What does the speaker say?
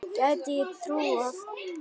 Gæti ég trúað.